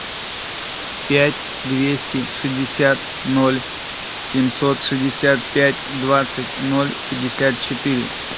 пять двести шестьдесят ноль семьсот шестьдесят пять двадцать ноль пятьдесят четыре